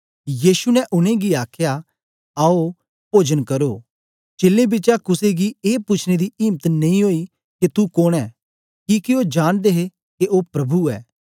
यीशु ने उनेंगी आखया आओ पोजन करो चेलें बिचा कुसे गी ए पूछने दी इम्त नेई ओई के तू कोन ऐं किके ओ जांनदे हे के ओ प्रभु ऐ